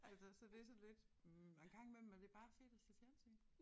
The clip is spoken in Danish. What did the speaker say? Altså så det sådan lidt hm og en gang imellem er det bare fedt at se fjernsyn